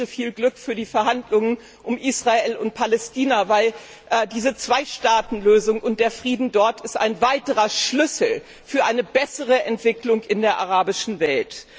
Und ich wünsche viel Glück für die Verhandlungen um Israel und Palästina, denn diese Zwei Staaten Lösung und der Frieden dort ist ein weiterer Schlüssel für eine bessere Entwicklung in der arabischen Welt.